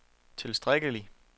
tilstrækkelig